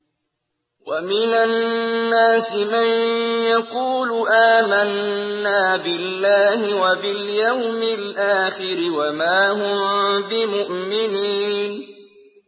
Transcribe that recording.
وَمِنَ النَّاسِ مَن يَقُولُ آمَنَّا بِاللَّهِ وَبِالْيَوْمِ الْآخِرِ وَمَا هُم بِمُؤْمِنِينَ